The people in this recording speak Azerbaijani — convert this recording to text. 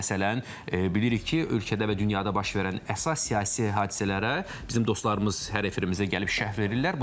Məsələn, bilirik ki, ölkədə və dünyada baş verən əsas siyasi hadisələrə bizim dostlarımız hər efirimizdə gəlib şərh verirlər.